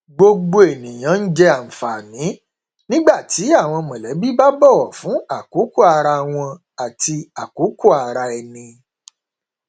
gbogbo ènìyàn n jẹ ànfààní nígbà tí àwọn mọlẹbí bá bọwọ fún àkókò ara wọn àti àkókò ara ẹni